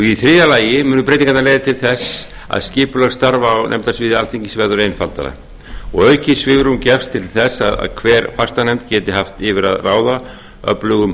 í þriðja lagi munu breytingarnar leiða til þess að skipulag starfa á nefndasviði alþingi verður einfaldara og aukið svigrúm gefst til þess að hver fastanefnd geti haft yfir að ráða öflugum